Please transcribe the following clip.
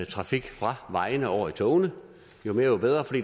trafik fra vejene over i togene jo mere jo bedre for